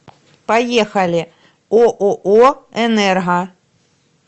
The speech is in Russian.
поехали ооо энерго